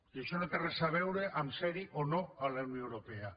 i això no té res a veure amb ser hi o no a la unió europea